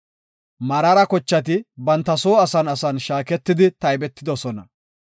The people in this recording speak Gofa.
Meraara kochati banta soo asan asan shaaketidi taybetidosona.